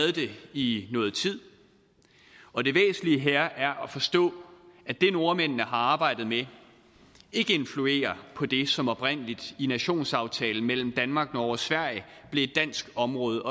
i noget tid og det væsentlige her er at forstå at det nordmændene har arbejdet med ikke influerer på det som oprindelig i nationsaftalen mellem danmark norge og sverige blev et dansk område